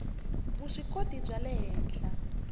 vuswikoti bya le henhla